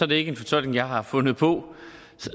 det ikke en fortolkning jeg har fundet på